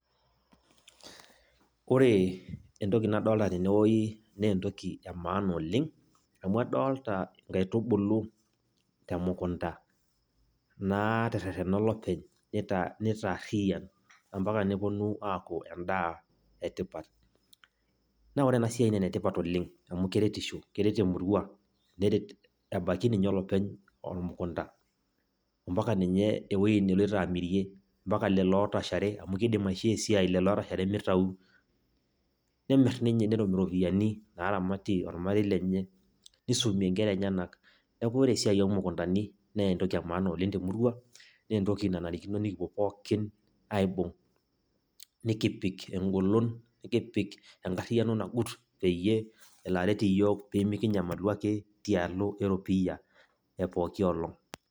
Ore entoki nadolta tenewoi, nentoki emaana oleng'. Amu adolta inkaitubulu temukunta, naaterrerrena olopeny nitaarriyian, ampaka neponu aaku endaa etipat. Na ore enasiai naa enetipat oleng', amu keretisho, keret emurua, neret ebaiki ninye olopeny ormukunda, ampaka ninye ewoi neloito amirie, mpaka lelo ootashare, amu kiidim aishoo esiai lelo ootashare mitau. Nemir ninye netum iropiyiani naramatie ormarei lenye, nisumie nkera enyanak. Neeku ore esiai omukundani nentoki emaana oleng' temurua, nentoki nanarikino nikipuo pookin aibung',nikipik egolon, nikipik enkarriyiano nagut, peyie elo aret iyiok pimikinyamalu ake tialo eropiyia epooki olong'.